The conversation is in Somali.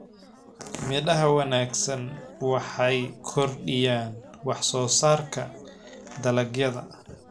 Midhaha wanaagsan waxay kordhiyaan wax-soo-saarka dalagyada.